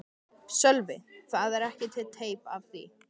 Sölvi: Það er ekki til teip af því?